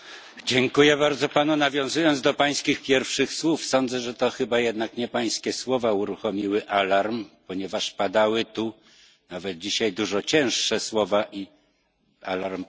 Nawiązując do Pańskich pierwszych słów, sądzę, że to chyba jednak nie Pańskie słowa uruchomiły alarm, ponieważ padały tu nawet dzisiaj dużo cięższe słowa i alarm pożarowy milczał.